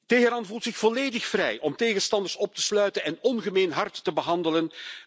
Teheran voelt zich volledig vrij om tegenstanders op te sluiten en ongemeen hard te behandelen.